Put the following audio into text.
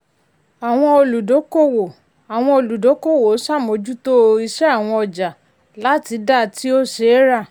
àwọn olùdúkòwò àwọn olùdúkòwò ṣàmójútó ìsẹ àwọn ọjà láti dá tí ó ṣeéra.